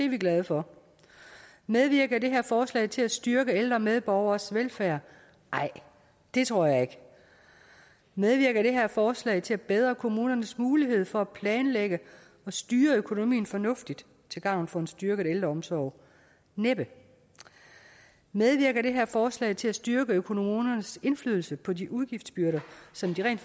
vi glade for medvirker det her forslag til at styrke ældre medborgeres velfærd nej det tror jeg ikke medvirker det her forslag til at forbedre kommunernes muligheder for at planlægge og styre økonomien fornuftigt til gavn for en styrket ældreomsorg næppe medvirker det her forslag til at styrke kommunernes indflydelse på de udgiftsbyrder som de rent